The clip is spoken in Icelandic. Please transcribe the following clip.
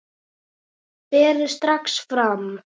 Berið strax fram.